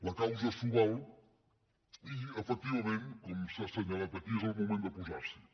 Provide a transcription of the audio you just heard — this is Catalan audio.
la causa s’ho val i efectivament com s’ha assenyalat aquí és el moment de posar s’hi